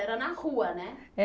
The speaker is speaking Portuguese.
Era na rua, né?